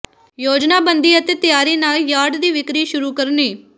ਯੋਜਨਾਬੰਦੀ ਅਤੇ ਤਿਆਰੀ ਨਾਲ ਯਾਰਡ ਦੀ ਵਿਕਰੀ ਸ਼ੁਰੂ ਕਰਨੀ